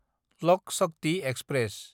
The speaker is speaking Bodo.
लक शक्ति एक्सप्रेस